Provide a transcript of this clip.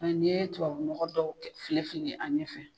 Ani ni ye tubabu nɔgɔ dɔw fili fili an ɲɛfɛ